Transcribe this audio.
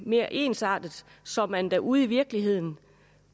mere ensartet så man derude i virkeligheden